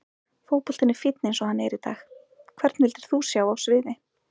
Fótboltinn er fínn eins og hann er í dag Hvern vildir þú sjá á sviði?